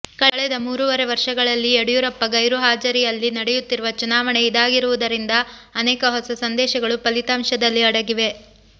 ಕಳೆದ ಮೂರೂವರೆ ವರ್ಷಗಳಲ್ಲಿ ಯಡಿಯೂರಪ್ಪ ಗೈರು ಹಾಜರಿಯಲ್ಲಿ ನಡೆಯುತ್ತಿರುವ ಚುನಾವಣೆ ಇದಾಗಿರುವುದರಿಂದ ಅನೇಕ ಹೊಸ ಸಂದೇಶಗಳು ಫಲಿತಾಂಶದಲ್ಲಿ ಅಡಗಿವೆ